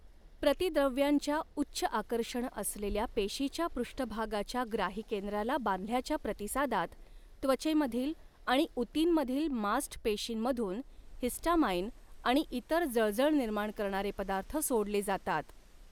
प्रतिद्रव्यांच्या उच्च आकर्षण असलेल्या पेशीच्या पृष्ठभागाच्या ग्राहीकेंद्राला बांधल्याच्या प्रतिसादात त्वचेमधील आणि ऊतींमधील मास्ट पेशींमधून हिस्टामाइन आणि इतर जळजळ निर्माण करणारे पदार्थ सोडले जातात.